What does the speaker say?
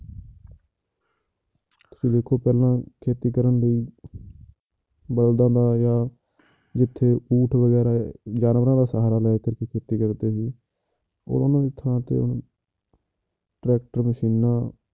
ਤੁਸੀਂ ਦੇਖੋ ਪਹਿਲਾਂ ਖੇਤੀ ਕਰਨ ਲਈ ਬਲਦਾਂ ਦਾ ਜਾਂ ਜਿੱਥੇ ਊਠ ਵਗ਼ੈਰਾ ਜਾਨਵਰਾਂ ਦਾ ਸਹਾਰਾ ਲੈ ਕੇ ਖੇਤੀ ਕਰਦੇ ਸੀ ਉਹਨਾ ਦੀ ਥਾਂ ਤੇ ਹੁਣ ਟਰੈਕਟਰ ਮਸ਼ੀਨਾਂ